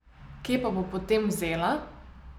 Kje pa bo potem vzela?